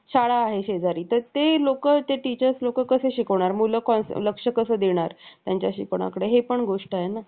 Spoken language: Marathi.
तुम्ही काही चुकीचे केले नाही. उलट तू माझ्यावर एक उपकार केला आहेस. ज्याद्वारे मला एकशे आठ स्नान करण्याची संधी दिली गेली. एकनाथजींनी हसले. मिठी मारली आणि जोडले.